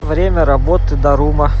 время работы дарума